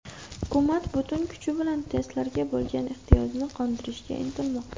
Hukumat butun kuchi bilan testlarga bo‘lgan ehtiyojni qondirishga intilmoqda.